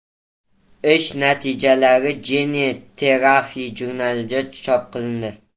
Ish natijalari Gene Therapy jurnalida chop qilindi.